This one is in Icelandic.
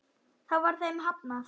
Þá var þeim hafnað.